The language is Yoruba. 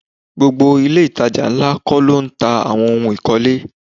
Gbogbo ilé itàjà ńlá kó lo ń ta àwọn ohun ikole.